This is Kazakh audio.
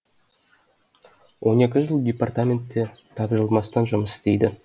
он екі жыл департаментте тапжылмастан жұмыс істейді